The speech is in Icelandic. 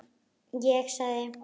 Ég sagði